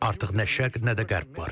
Artıq nə şərq, nə də qərb var.